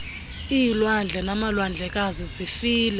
iilwandle namalwandlekazi zifile